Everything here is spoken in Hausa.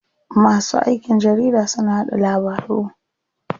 Masu aikin jarida suna yaɗa labaru.